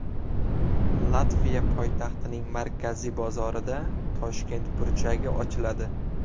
Latviya poytaxtining markaziy bozorida Toshkent burchagi ochiladi.